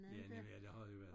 Ja nemlig ja det har det været